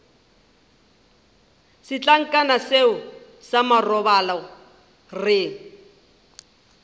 setlankana seo sa marobalo re